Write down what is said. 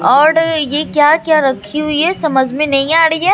और ये क्या क्या रखी हुई है समझ में नहीं आ रही है।